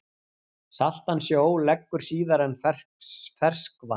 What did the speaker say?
Saltan sjó leggur síðar en ferskvatn.